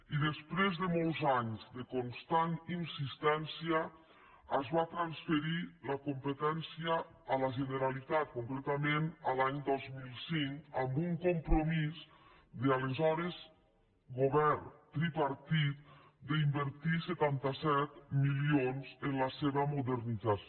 i després de molts anys de constant insistència se’n va transferir la competència a la generalitat concretament l’any dos mil cinc amb un compromís de l’aleshores govern tripartit d’invertir setanta set milions en la seva modernització